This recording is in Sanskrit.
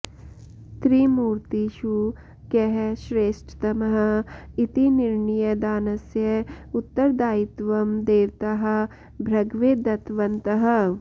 त्रिमूर्तिषु कः श्रेष्ठतमः इति निर्णयदानस्य उत्तरदायित्वं देवताः भृगवे दत्तवन्तः